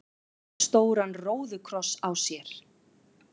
stóran róðukross á sér.